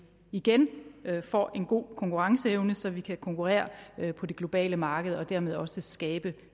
igen får en god konkurrenceevne så vi kan konkurrere på det globale marked og dermed også skabe